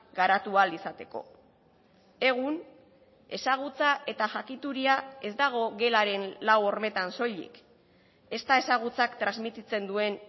garatu ahal izateko egun ezagutza eta jakituria ez dago gelaren lau hormetan soilik ez da ezagutzak transmititzen duen